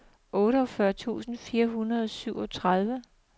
otteogfyrre tusind fire hundrede og syvogtredive